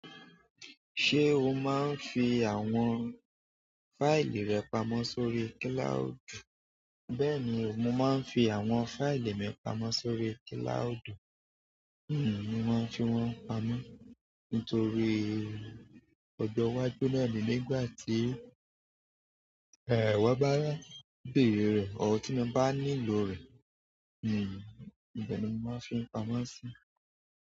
Ṣé o máa ń fi àwọn fáìlì rẹ pamọ́ sórí kílàúdù? Bẹ́ẹ̀ni o mo ma n fi àwọn fáìlì mi pamọ́ sórí kilaudu mo ma n fi wọn pamọ́ nítorí ọjọ́ iwájú naá ni nígbà tí, won bá bẹ̀rẹ̀ rẹ̀, or tí n bá nílò rẹ̀. Ibẹ́ ni mo máa n fi ń pamọ́ síi.